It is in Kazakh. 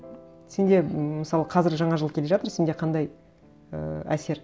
сенде мысалы қазір жаңа жыл келе жатыр сенде қандай ыыы әсер